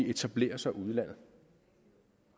etablerer sig ude i landet